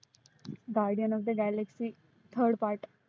Guardian of the Galaxy third part